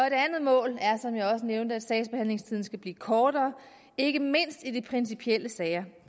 et andet mål er som jeg også nævnte at sagsbehandlingstiden skal blive kortere ikke mindst i de principielle sager